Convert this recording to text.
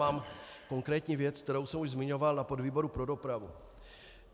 Mám konkrétní věc, kterou jsem už zmiňoval na výboru pro dopravu.